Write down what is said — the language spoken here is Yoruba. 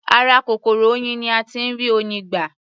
Ara kòkòrò oyin ni a tí ń rí Oyin gbà.